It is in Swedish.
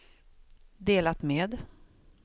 delat med